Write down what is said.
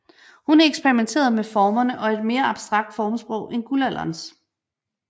Hun eksperimenterede med formerne og et mere abstrakt formsprog end guldalderens